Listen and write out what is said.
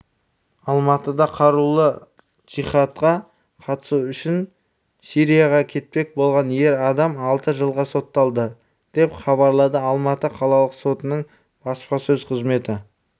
алматыда қарулы джихадқа қатысу үшін сирияға кетпек болған ер адам алты жылға сотталды деп хабарлады алматы қалалық сотының баспасөз қызметі